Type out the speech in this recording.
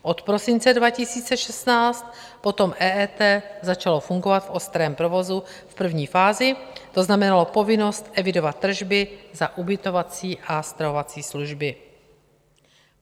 Od prosince 2016 potom EET začalo fungovat v ostrém provozu v první fázi, to znamenalo povinnost evidovat tržby za ubytovací a stravovací služby.